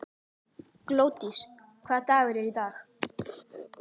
Glódís, hvaða dagur er í dag?